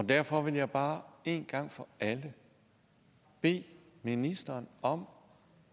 derfor vil jeg bare en gang for alle bede ministeren om